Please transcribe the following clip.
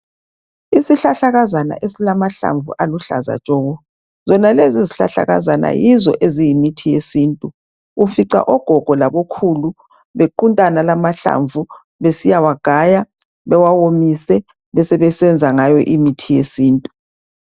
Isihlahlakazana esimahlamvu aluhlaza tshoko. Zonalezi izihlahlakazana yizo eziyimithi yesintu. Ufica ogogo labokhulu bequnta wonala amahlamvu, besebesiya wagaya bewawomise besebesenza ngawo imithi yesintu.